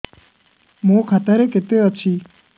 ମୋ ଖାତା ରେ କେତେ ଅଛି